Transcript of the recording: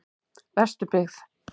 Vesturbyggð